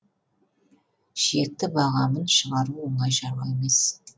шекті бағамын шығару оңай шаруа емес